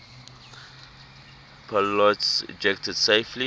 pilots ejected safely